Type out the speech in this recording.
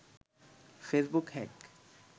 Facebook hack